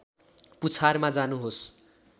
पुछारमा जानुहोस्